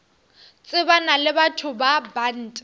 tsebana le batho ba bant